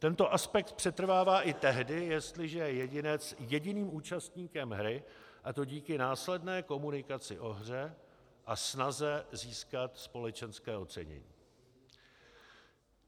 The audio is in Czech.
Tento aspekt přetrvává i tehdy, jestliže je jedinec jediným účastníkem hry, a to díky následné komunikaci o hře a snaze získat společenské ocenění.